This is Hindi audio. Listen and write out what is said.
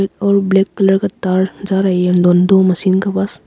एक और ब्लैक कलर का तार जा रहा है दो मशीन के पास।